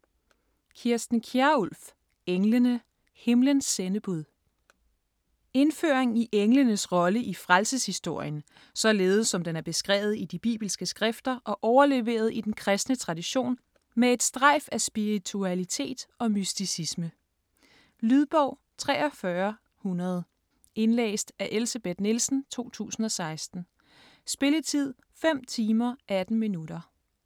Kjærulff, Kirsten: Englene: himlens sendebud Indføring i englenes rolle i frelseshistorien, således som den er beskrevet i de bibelske skrifter og overleveret i den kristne tradition med et strejf af spiritualitet og mysticisme. Lydbog 43100 Indlæst af Elsebeth Nielsen, 2016. Spilletid: 5 timer, 18 minutter.